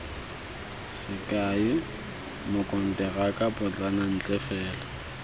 sekai mokonteraka potlana ntle fela